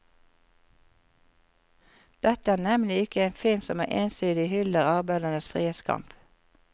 Dette er nemlig ikke en film som ensidig hyller arbeidernes frihetskamp.